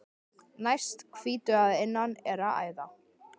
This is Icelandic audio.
Næst hvítu að innan er æða.